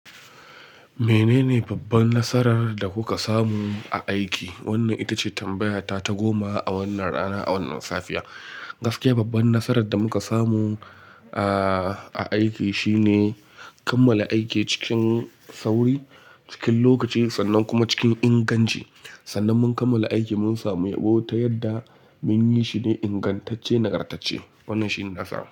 Menene babban nasarar da kuka samu a aiki? Wannan ita ce tambayata ta goma a wannan rana, a wannan safiya. Gaskiya babban nasarar da muka samu a, a aiki shine kammala aiki cikin sauri, cikin lokaci sannan kuma cikin inganci. Sannan mun kammala aiki mun samu yabo ta yadda mun yi shine ingantacce, nagartacce. Wannan shine nasara.